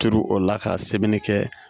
Turu o la ka sɛbɛnni kɛ